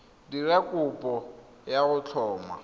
dira kopo ya go tlhoma